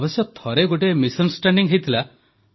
ଅବଶ୍ୟ ଥରେ ଗୋଟିଏ ଭୁଲ ବୁଝାମଣା ହୋଇଥିଲା